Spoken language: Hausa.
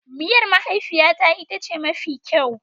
Miyar mahaifiyata ita ce mafi kyau.